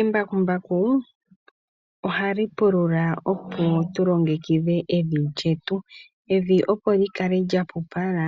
Embakumbaku ohali pulula opo tu longekidhe evi lyetu, evi opo li kale lya pupala,